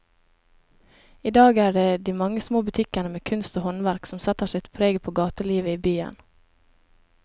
I dag er det de mange små butikkene med kunst og håndverk som setter sitt preg på gatelivet i byen.